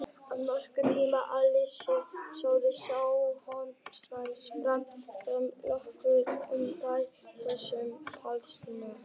Að nokkrum tíma liðnum setti forysta sjálfstjórnarsvæðisins fram formlega kröfu um stofnun sjálfstæðs ríkis Palestínu.